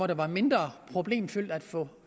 det var mindre problemfyldt at få